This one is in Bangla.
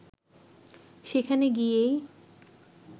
সেখানে গিয়েই